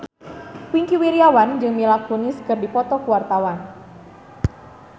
Wingky Wiryawan jeung Mila Kunis keur dipoto ku wartawan